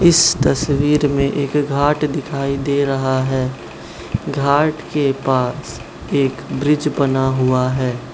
इस तस्वीर में एक घाट दिखाई दे रहा है घाट के पास एक ब्रिज बना हुआ है।